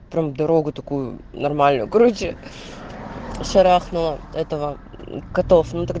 там дорогу такую нормальную короче шарахнуло этого котов